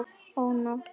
Ó, nótt!